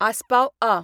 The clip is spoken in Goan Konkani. आसपाव आ.